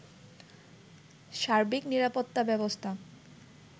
সার্বিক নিরাপত্তা ব্যবস্থা